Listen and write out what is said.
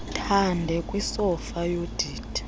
thande kwisofa yodidi